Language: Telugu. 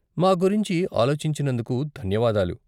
మా గురించి ఆలోచించినందుకు ధన్యవాదాలు.